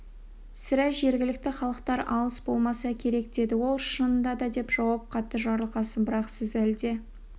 сірә жергілікті халықтар алыс болмаса керек деді ол шынында да деп жауап қатты жарылқасын бірақ сіз әлде